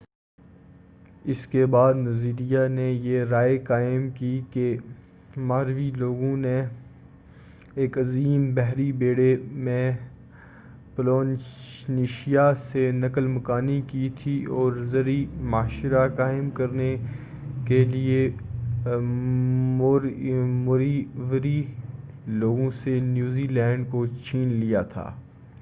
اسکے بعد نظریہ نے یہ رائے قائم کی کہ ماوری لوگوں نے ایک عظیم بحری بیڑے میں پولینیشیا سے نقل مکانی کی تھی اور زرعی معاشرہ قائم کرنے کیلئے موریوری لوگوں سے نیو زیلینڈ کو چھین لیا تھا